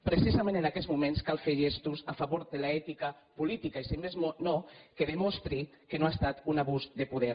precisament en aquests moments cal fer gestos a favor de l’ètica política i si més no que demostri que no ha estat un abús de poder